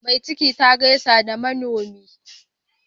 Mai ciki ta gaishe da manomi.